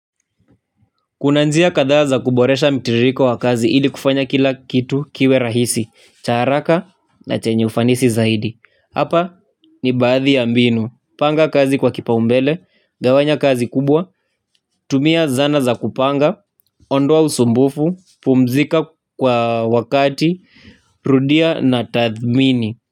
Kuna njia kadhaa za kuboresha mitiririko wa kazi ili kufanya kila kitu kiwe rahisi, cha haraka na chenye ufanisi zaidi. Hapa ni baadhi ya mbinu, panga kazi kwa kipa umbele, gawanya kazi kubwa, tumia zana za kupanga, ondoa usumbufu, pumzika kwa wakati, rudia na tathmini.